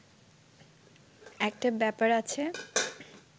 একটা ব্যাপার আছে